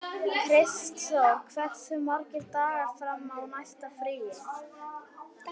Kristþóra, hversu margir dagar fram að næsta fríi?